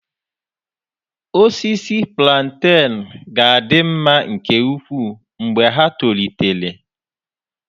Osisi plantain ga-adị mma nke ukwuu mgbe ha tolitere.